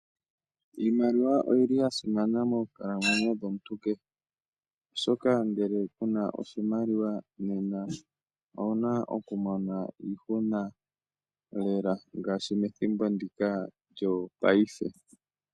Iimaliwa oyi li ya simana moonkalamwenyo dhomuntu kehe, oshoka ngele ku na oshimaliwa, nena owu na oku mona iihuna Lela, ngaashi methimbo ndika lyopaife.